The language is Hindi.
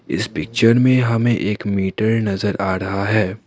इस पिक्चर में हमें एक मीटर नजर आ रहा है।